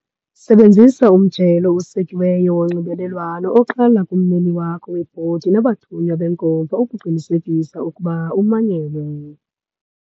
Sebenzisa umjelo osekiweyo wonxibelelwano oqala kummeli wakho webhodi nabathunywa benkomfa ukuqinisekisa ukuba umanyelwe.